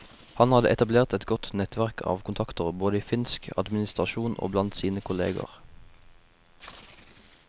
Han hadde etablert et godt nettverk av kontakter både i finsk administrasjon og blant sine kolleger.